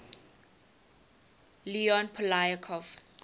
leon poliakov